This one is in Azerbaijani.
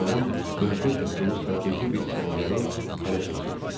Düşmənin mövqe tutduğu strateji bir səngəri ələ keçirdik.